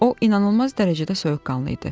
O inanılmaz dərəcədə soyuqqanlı idi.